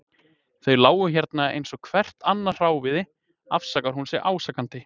Þau lágu hérna eins og hvert annað hráviði, afsakar hún sig ásakandi.